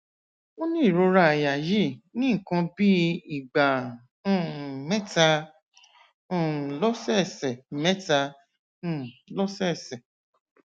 ó ní ìrora àyà yìí ní nǹkan bí ìgbà um mẹta um lọsẹẹsẹ mẹta um lọsẹẹsẹ